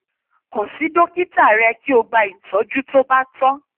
kan si dokita rẹ ki o gba itọju to ba tọ